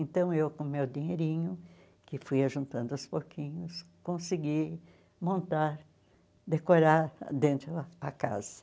Então eu, com o meu dinheirinho, que fui juntando aos pouquinhos, consegui montar, decorar dentro a casa.